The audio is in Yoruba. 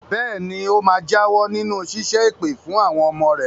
Bẹ́ẹ̀ ni, ó máa jáwọ́ nínú ṣíṣẹ́ èpè fún àwọn ọmọ rẹ̀.